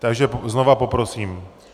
Takže znova poprosím.